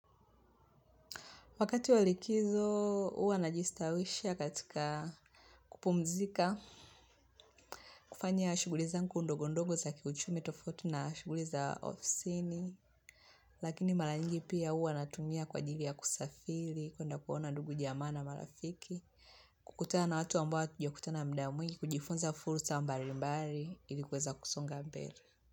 Wakati wa likizo, huwa najistawisha katika kupumzika. Kufanya shughuli zangu ndogo ndogo za kiuchumi tofauti na shughuli za ofisini. Lakini mara nyingi pia huwa natumia kwa ajili ya kusafiri. Kuenda kuona ndugu jamaa na marafiki. Kukutana na watu ambao hatujakutana muda mwingi. Kujifunza fursa mbali mbali. Ili kuweza kusonga mbele.